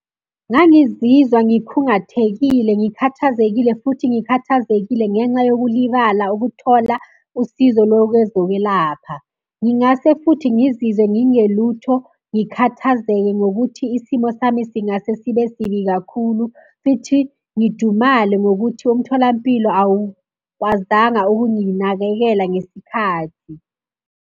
Ngangizizwa ngikhungathekile, ngikhathazekile futhi ngikhathazekile ngenxa yokulibala ukuthola usizo lokwezokwelapha. Ngingase futhi ngizizwe ngingelutho, ngikhathazeke ngokuthi isimo sami singase sibe sibi kakhulu, fithi ngidumale ngokuthi umtholampilo awukwazanga ukunginakekela ngesikhathi.